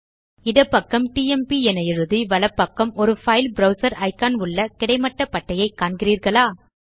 இடப்பக்கம் டிஎம்பி என எழுதி வலப்பக்கம் ஒரு பைல் ப்ரவ்சர் இக்கான் உள்ள கிடைமட்ட பட்டையை காண்கிறீர்களா